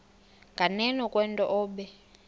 nganeno kwento obe